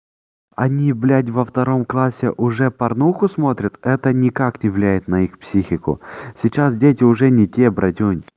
они блядь во втором классе уже порнуху смотрят это никак не влияет на их психику сейчас дети уже не те братюнь